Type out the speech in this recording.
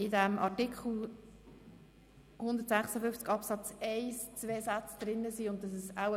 In Artikel 156 Absatz 1 sind zwei Sätze enthalten.